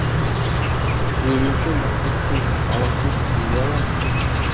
түзелуші мақсұтсыз талапсыз түзеле ала ма